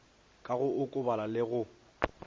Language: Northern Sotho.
ka go okobala le go